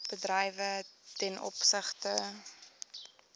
bedrywe ten opsigte